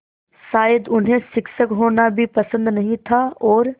शायद उन्हें शिक्षक होना भी पसंद नहीं था और